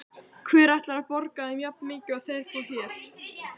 Hver ætlar að borga þeim jafnmikið og þeir fá hér?